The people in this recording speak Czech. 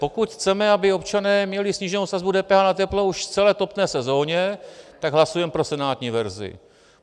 Pokud chceme, aby občané měli sníženou sazbu DPH na teplo už v celé topné sezóně, tak hlasujeme pro senátní verzi.